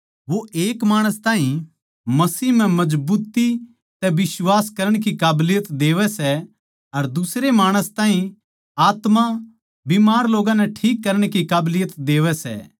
वो एक माणस ताहीं मसीह म्ह मजबुत्ती तै बिश्वास करण की काबलियत देवै सै अर दुसरे माणस ताहीं आत्मा बीमार लोग्गां नै ठीक करण की काबलियत देवै सै